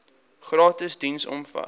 gratis diens omvat